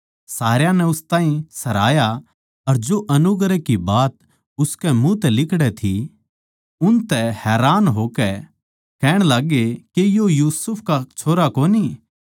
सारया नै उस ताहीं सराहया अर जो अनुग्रह की बात उसकै मुँह तै लिकड़ै थी उनतै हैरान होए अर कहण लाग्गे के यो यूसुफ का छोरा कोनी